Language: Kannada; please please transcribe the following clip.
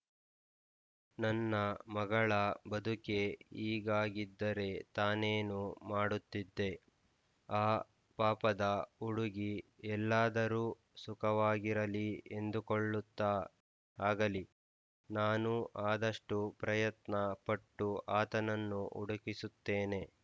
ನನ್ನ ಮಗಳ ಬದುಕೇ ಹೀಗಾಗಿದ್ದರೆ ತಾನೇನು ಮಾಡುತ್ತಿದ್ದೆ ಆ ಪಾಪದ ಹುಡುಗಿ ಎಲ್ಲಾದರೂ ಸುಖವಾಗಿರಲಿ ಎಂದುಕೊಳ್ಳುತ್ತಾ ಆಗಲಿ ನಾನು ಆದಷ್ಟೂ ಪ್ರಯತ್ನ ಪಟ್ಟು ಆತನನ್ನು ಹುಡುಕಿಸುತ್ತೇನೆ